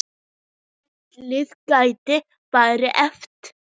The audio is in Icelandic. Valið gæti verið erfitt.